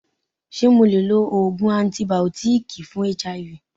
Ṣé mo le lo Ògùn antìbìótíkì fún HIV?